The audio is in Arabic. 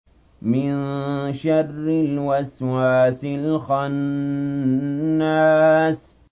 مِن شَرِّ الْوَسْوَاسِ الْخَنَّاسِ